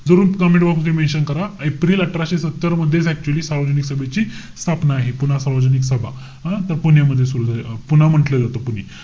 जरूर comment box मध्ये mention करा. एप्रिल अठराशे सत्तर मध्येच actually सार्वजनिक सभेची स्थापना आहे. पुणा सार्वजनिक सभा. अं? तर पुण्यामध्ये सुरु झाली. अं पुणा म्हण्टलेलं होते, पुणे.